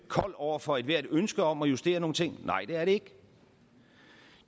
kold over for ethvert ønske om at justere nogle ting nej det er det ikke